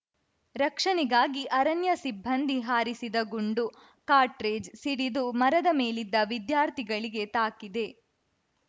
ರಕ್ಷಣೆಗಾಗಿ ಅರಣ್ಯ ಸಿಬ್ಬಂದಿ ಹಾರಿಸಿದ ಗುಂಡು ಕಾಟ್ರೇಜ್‌ ಸಿಡಿದು ಮರದ ಮೇಲಿದ್ದ ವಿದ್ಯಾರ್ಥಿಗಳಿಗೆ ತಾಕಿದೆ